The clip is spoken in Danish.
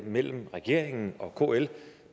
mellem regeringen og kl